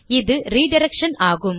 இது ரிடிரக்ஷன் ஆகும்